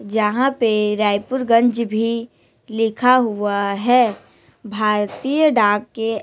जहां पे रायपुर गंज भी लिखा हुआ है भारतीय डाक के--